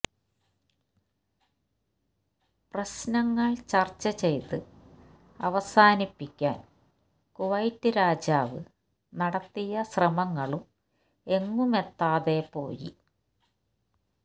പ്രശ്നങ്ങൾ ചർച്ച ചെയ്ത് അവസാനിപ്പിക്കാൻ കുവൈറ്റ് രാജാവ് നടത്തിയ ശ്രമങ്ങളും എങ്ങുമെത്താതെ പോയി